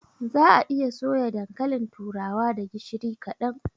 Za'a iya soya dankalin turawa da gishiri kaɗan.